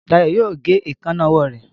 Dayo yóò gé Èékánná ọwọ́ rẹ.